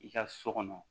I ka so kɔnɔ